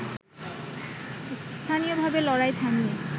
স্থানীয়ভাবে লড়াই থামিয়ে